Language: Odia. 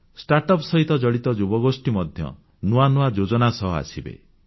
ଷ୍ଟାର୍ଟ ଅପ୍ ସହିତ ଜଡ଼ିତ ଯୁବଗୋଷ୍ଠୀ ମଧ୍ୟ ନୂଆ ନୂଆ ଯୋଜନା ସହ ଆସିବେ